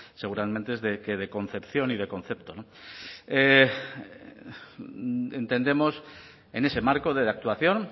seguramente que de concepción y de concepto entendemos en ese marco de actuación